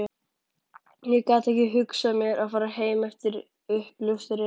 Ég gat ekki hugsað mér að fara heim eftir uppljóstrun